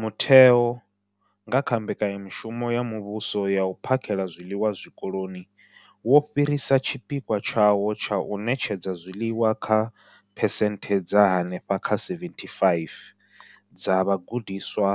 Mutheo nga kha Mbekanya mushumo ya Muvhuso ya U phakhela zwiḽiwa Zwikoloni, wo fhirisa tshipikwa tshawo tsha u ṋetshedza zwiḽiwa kha phesenthe dza henefha kha 75 dza vhagudiswa